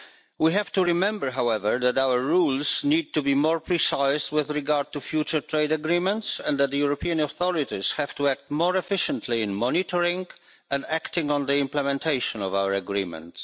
We have to remember, however, that our rules need to be more precise with regard to future trade agreements, and that the European authorities have to act more efficiently in monitoring and acting on the implementation of our agreements.